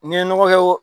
N'i ye nɔgɔ kɛ